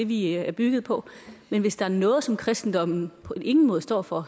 vi er bygget på men hvis der er noget som kristendommen på ingen måde står for